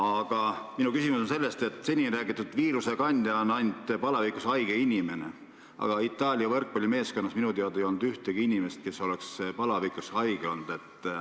Kuid minu küsimus on selle kohta, et seni on räägitud, et viirusekandjaks on ainult palavikus haige inimene, aga Itaalia võrkpallimeeskonnas ei olnud minu teada ühtegi inimest, kes oleks palavikus haige olnud.